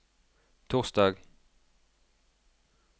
torsdag